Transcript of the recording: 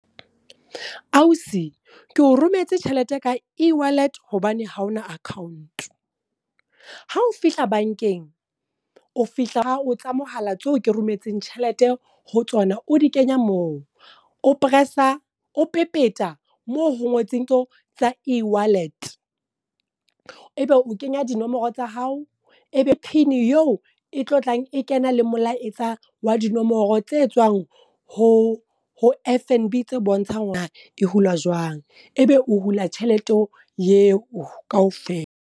Ausi ke o rometse tjhelete ka ewallet, hobane haona account. Ha o fihla bankeng, o fihla o tsa mohala tseo ke rometseng tjhelete ho tsona o di kenya moo. O pressa o pepeta, moo ho ngotsweng tseo tsa ewallet. E be o kenya dinomoro tsa hao, ebe pin yeo e tlo tlang e kena le molaetsa wa dinomoro tse tswang ho ho F_N_B tse bontshang hore e hulwa jwang. E be o hula tjhelete eo kaofela.